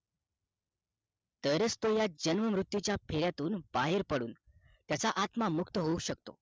तर च तो या जन्म मृत्यू चा फेऱ्यातून बाहेरपडून त्याचा आत्मा मुक्त होऊ शकतो